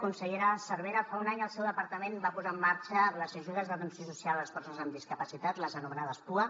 consellera cervera fa un any el seu departament va posar en marxa les ajudes d’atenció social a les persones amb discapacitat les anomenades pua